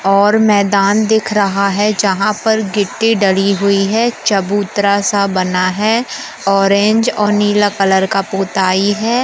और मैदान दिख रहा है। जहां पर गिट्टी डाली हुई है। चबूतरा सा बना है। ऑरेंज और नीला कलर का पोताई है।